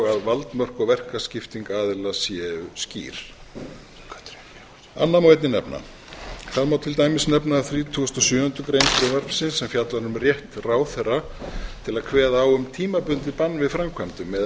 að valdmörk og verkaskipting aðila séu skýr annað má einnig nefna það má til dæmis nefna að þrítugasta og sjöundu greinar frumvarpsins sem fjallar um rétt ráðherra til að kveða á um tímabundið bann við framkvæmdum meðan